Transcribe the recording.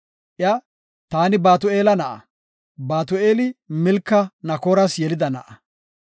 Iya, “Taani Batu7eela na7a; Batu7eeli Milka Naakoras yelida na7a.